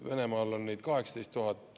Venemaal on neid 18 000.